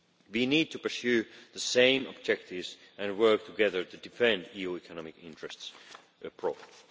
We need to pursue the same objectives and work together to defend EU economic interests abroad.